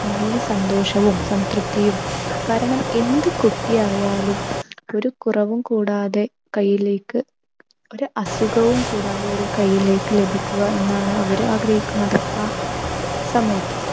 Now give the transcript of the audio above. നല്ല സന്തോഷവും സംതൃപ്തിയും കാരണം എന്ത് കുട്ടിയായാലും ഒരു കുറവും കൂടാതെ കയ്യിലേക്ക് ഒരു അസുഖവും കൂടാതെയൊര് കൈയ്യിലേക്ക് ലഭിക്കുക എന്നാണ് അവർ ആഗ്രഹിക്കുന്നത് ആ സമയത്ത്.